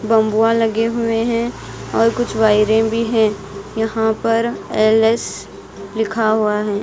बम्बुआ लगे हुए है और कुछ वायरे भी है यहां पर एल_एस लिखा हुआ है।